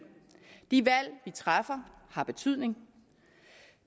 de valg vi træffer har betydning